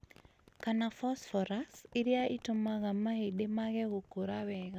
kana phosphorus, iria itũmaga mahĩndĩ mage gũkũra wega